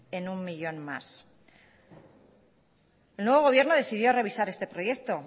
en uno millón más el nuevo gobierno decidió revisar este proyecto